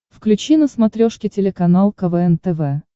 включи на смотрешке телеканал квн тв